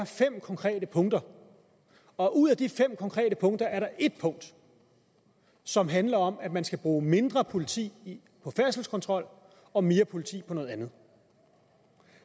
fem konkrete punkter og ud af de fem konkrete punkter er der et punkt som handler om at man skal bruge mindre politi på færdselskontrol og mere politi på noget andet